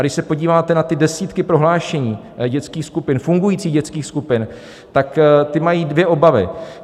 A když se podíváte na ty desítky prohlášení dětských skupin, fungujících dětských skupin, tak ty mají dvě obavy.